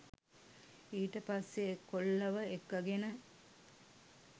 ඊට පස්සෙ කොල්ලව එක්කගෙන